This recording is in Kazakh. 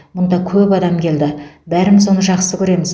мұнда көп адам келді бәріміз оны жақсы көреміз